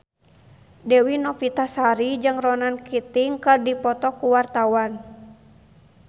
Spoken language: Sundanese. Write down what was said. Dewi Novitasari jeung Ronan Keating keur dipoto ku wartawan